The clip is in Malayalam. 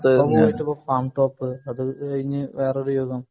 പാംടോപ്പ് അത് ഇനി വേറൊരു